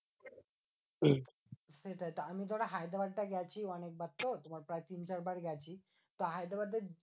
সেটাই আমি ধরো হায়দ্রাবাদ টা গেছি অনেকবার তো? তোমার প্রায় তিন চার বার গেছি। তো হায়দ্রাবাদের